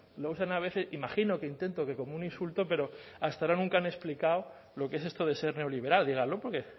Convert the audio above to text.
lo usan a veces imagino que intento que como un insulto pero hasta ahora nunca han explicado lo que es esto de ser neoliberal díganlo porque